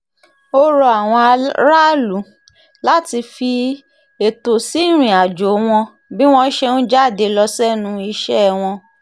ó rọ àwọn aráàlú láti fi ẹ̀tọ́ sí ìrìnàjò wọn bí wọ́n ṣe ń jáde lọ sẹ́nu iṣẹ́ wọn